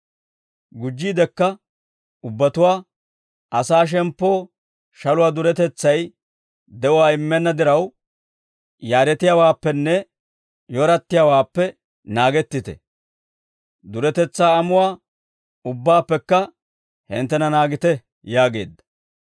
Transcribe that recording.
Gujjiidekka ubbatuwaa, «Asaa shemppoo shaluwaa duretetsay de'uwaa immenna diraw, yaaretiyaawaappenne yorattiyaawaappe naagettite; duretetsaa amuwaa ubbaappekka hinttena naagite» yaageedda.